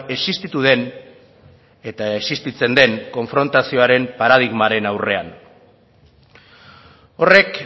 existitu den eta existitzen den konfrontazioaren paradigmaren aurrean horrek